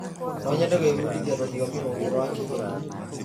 Nonyende gwĩbundithia rũthiomi rũngĩ rwa kĩgeni.